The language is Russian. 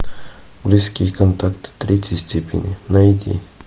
близкие контакты третьей степени найди